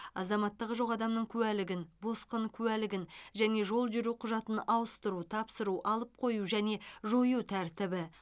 азаматтығы жоқ адамның куәлігін босқын куәлігін және жол жүру құжатын ауыстыру тапсыру алып қою және жою тәртібі